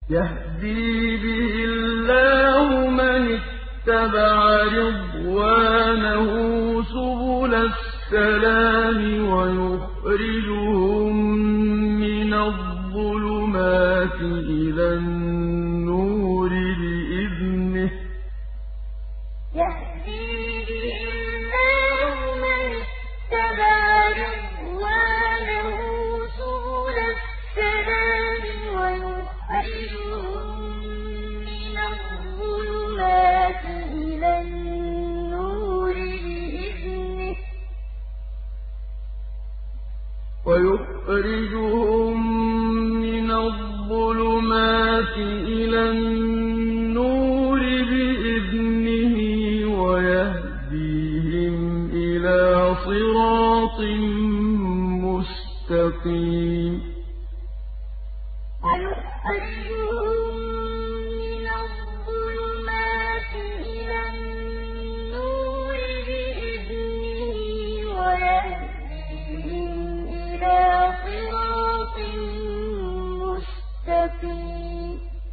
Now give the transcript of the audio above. يَهْدِي بِهِ اللَّهُ مَنِ اتَّبَعَ رِضْوَانَهُ سُبُلَ السَّلَامِ وَيُخْرِجُهُم مِّنَ الظُّلُمَاتِ إِلَى النُّورِ بِإِذْنِهِ وَيَهْدِيهِمْ إِلَىٰ صِرَاطٍ مُّسْتَقِيمٍ يَهْدِي بِهِ اللَّهُ مَنِ اتَّبَعَ رِضْوَانَهُ سُبُلَ السَّلَامِ وَيُخْرِجُهُم مِّنَ الظُّلُمَاتِ إِلَى النُّورِ بِإِذْنِهِ وَيَهْدِيهِمْ إِلَىٰ صِرَاطٍ مُّسْتَقِيمٍ